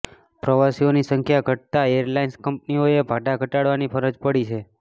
પ્રવાસીઓની સંખ્યા ઘટતાં એરલાઇન્સ કંપનીઓએ ભાડા ઘટાડવાની ફરજ પડી છે